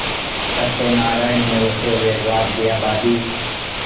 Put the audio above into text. सत्यनाराण ने रोते हुए जवाब दियाभाभी